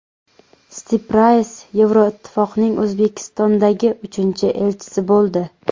Stiprays Yevroittifoqning O‘zbekistondagi uchinchi elchisi bo‘ldi.